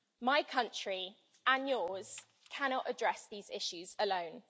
My country and yours cannot address these issues alone.